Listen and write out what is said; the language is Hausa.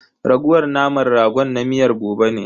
Raguwar naman ragon na miyar gobe ne.